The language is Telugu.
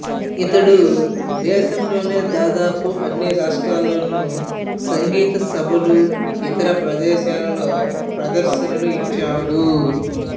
ఇతడు దేశంలోని దాదాపు అన్ని రాష్ట్రాలలోని సంగీత సభలు ఇతర ప్రదేశాలలో ప్రదర్శన్లు ఇచ్చాడు